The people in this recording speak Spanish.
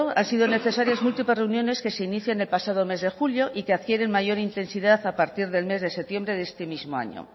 han sido necesarias múltiples reuniones que se inician el pasado mes de julio y que adquieren mayor intensidad a parte del mes de septiembre de este mismo año